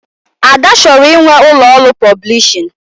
Ada chọrọ inwe ụlọ ọrụ pọblishin